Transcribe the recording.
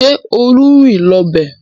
Ṣé Olú ń rìn lọ ibẹ̀?